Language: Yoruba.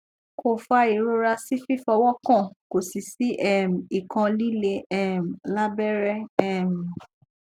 ko fa irora si fifowokan ko si si um ikan lile um labere um